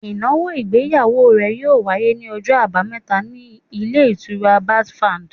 Ìnáwó ìgbéyàwó rẹ̀ yíò wáyé ní ọjọ́ àbámẹ́ta ní Ilé Ìtura Basfad